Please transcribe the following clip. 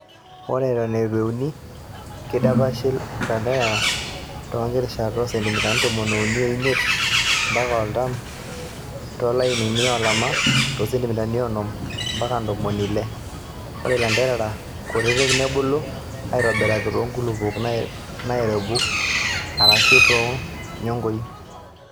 Ore eton eitu euni:Keidapashi ilanterera too nkirishat oo centimitai tomon uni omiet ompaka artam too lainini olama too centimitai onom ompaka ntomoni ile .Ore ilanterera kutiti nebulu aitobiraki too nkulupuok nairebuk arashu too nyongoi.